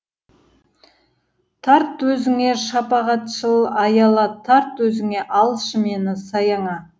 тарт өзіңе шапағатшыл аяла тарт өзіңе алшы мені саяңа